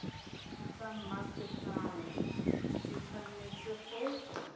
tsa mmasepala e tshwanetse go